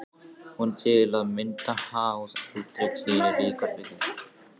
Hún er til að mynda háð aldri, kyni og líkamsbyggingu.